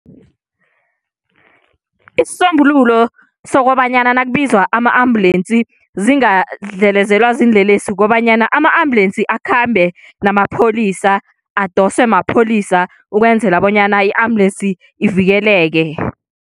Isisombululo sokobanyana nakubizwa ama-ambulensi zingadlelezelwa ziinlelesi, kukobanyana ama-ambulensi akhambe namapholisa. Adoswe mapholisa ukwenzela bonyana i-ambulensi ivikeleke.